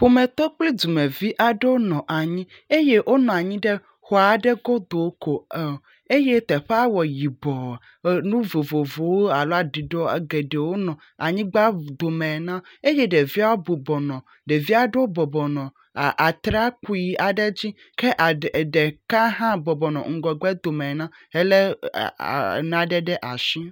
Ƒometɔ kple dumevi aɖewo nɔ anyi eye wonɔ anyi ɖe xɔ aɖe godo ko em eye teƒea wɔ yibɔ. Enu vovovowo alo aɖuɖɔ geɖewo nɔ anyigba dome ene eye ɖeviawo bɔbɔnɔ ɖevi aɖewo bɔbɔbɔ nɔ a, atrakpui aɖe dzi. Ke aɖe ɖeka hã bɔbɔnɔ ŋgɔgbe dome ene helé aa nane ɖe asi.